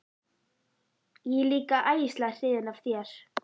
Ég er líka æðislega hrifin af þér.